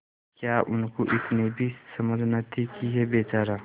क्या उनको इतनी भी समझ न थी कि यह बेचारा